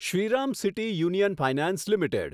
Shriram City Union Finance limited